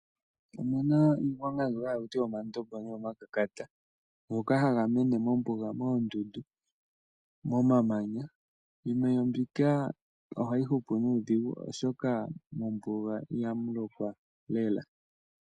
Opuna iigwanga mbyoka hakutiwa omandombo ngoka hayi mene mombuga moondundu momamanya. Iimeno mbika ohayi hupu nuudhigu oshoka mombuga ihamu lokwa lela.